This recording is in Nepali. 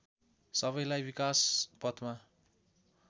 सबैलाई विकास पथमा